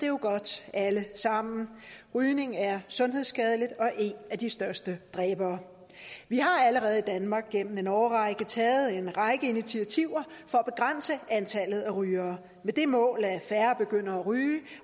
jo godt alle sammen rygning er sundhedsskadeligt og en af de største dræbere vi har allerede i danmark gennem en årrække taget en række initiativer for at begrænse antallet af rygere med det mål at færre begynder at ryge